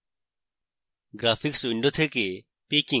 graphics window থেকে picking